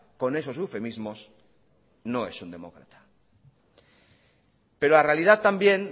con esos eufemismos no es un demócrata pero la realidad también